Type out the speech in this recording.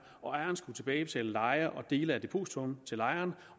ejeren skulle tilbagebetale leje og dele af depositummet til lejeren